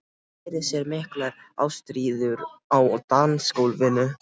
Sá fyrir sér miklar ástríður á dansgólfinu.